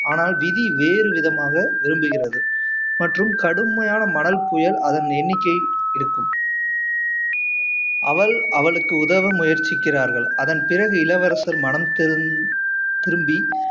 ஆனால் விதி வேறு விதமாக விரும்புகிறது மற்றும் கடுமையான மணல் புயல் அதன் எண்ணிக்கை இருக்கும் அவள் அவளுக்கு உதவ முயற்சிக்கிறார்கள் அதன் பிறகு இளவரசர் மனம் திருந்தி